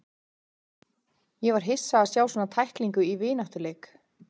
Ég var hissa á að sjá svona tæklingu í vináttuleik.